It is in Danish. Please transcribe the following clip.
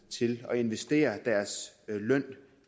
til at investere deres løn